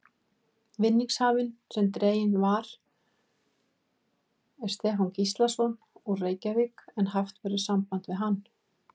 Vinningshafinn sem dreginn var er Stefán Gíslason, úr Reykjavík en haft verður samband við hann.